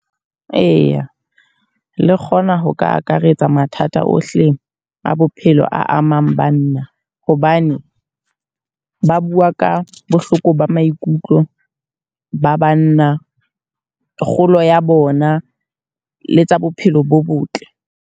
Eya, le kgona ho ka akaretsa mathata ohle a bophelo a amang banna. Hobane ba bua ka bohloko ba maikutlo ba banna, kgolo ya bona le tsa bophelo bo botle.